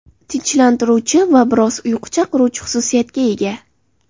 Tinchlantiruvchi va biroz uyqu chaqiruvchi xususiyatga ega.